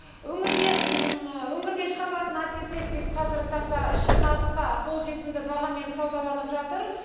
өңірде өңірде шығарылатын антисептик қазіргі таңда ішкі нарықта қолжетімді бағамен саудаланып жатыр